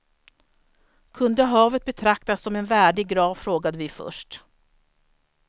Kunde havet betraktas som en värdig grav frågade vi först.